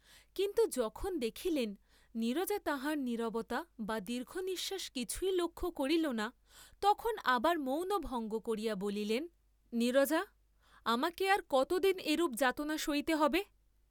কিন্তু যখন দেখিলেন নীরজা তাঁহার নীরবতা বা দীর্ঘনিশ্বাস কিছুই লক্ষ্য করিল না, তখন আবার মৌন ভঙ্গ করিয়া বলিলেন নীরজা আমাকে আর কতদিন এরূপ যাতনা সইতে হবে?